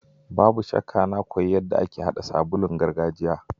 Babu shakka na koyi yadda ake hada sabulun gargajiya.